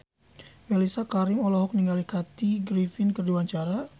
Mellisa Karim olohok ningali Kathy Griffin keur diwawancara